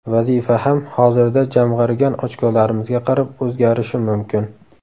Vazifa ham hozirda jamg‘argan ochkolarimizga qarab o‘zgarishi mumkin.